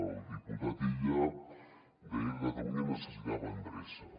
el diputat illa deia que catalunya necessitava endreça